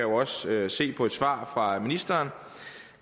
også se af et svar fra ministeren